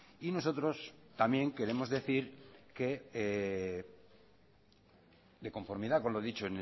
y nosotros también queremos decir que de conformidad con lo dicho